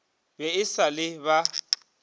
be e sa le ba